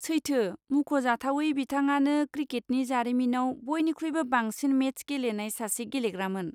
सैथो। मुंख'जाथावै बिथाङानो क्रिकेटनि जारिमिनाव बयनिख्रुइबो बांसिन मेच गेलेनाय सासे गेलेग्रामोन।